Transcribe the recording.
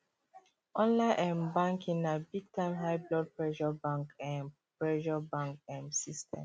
online um banking na big time high blood pressure bank um pressure bank um system